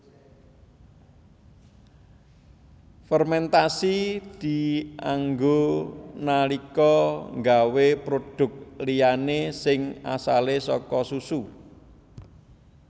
Fermentasi dianggo nalika nggawé produk liyané sing asale saka susu